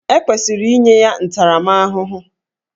E kwesịrị inye ya ntaramahụhụ